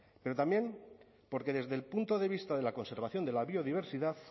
pero también porque desde el punto de vista de la conservación de la biodiversidad